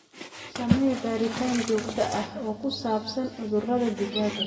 Samee baaritaan joogto ah oo ku saabsan cudurrada digaagga.